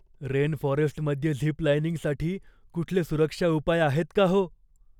रेनफॉरेस्टमध्ये zip लाइनिंगसाठी कुठले सुरक्षा उपाय आहेत का हो?